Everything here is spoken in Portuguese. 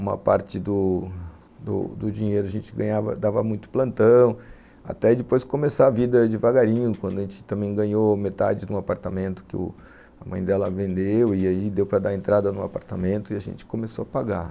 Uma parte do do dinheiro a gente ganhava, dava muito plantão, até depois começar a vida devagarinho, quando a gente também ganhou metade do apartamento que a mãe dela vendeu e aí deu para dar entrada no apartamento e a gente começou a pagar.